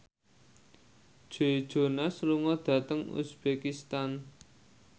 Joe Jonas lunga dhateng uzbekistan